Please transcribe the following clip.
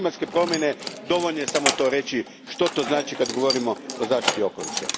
Klimatske promjene, dovoljno je samo to reći, što to znači kada govorimo o zaštiti okoliša.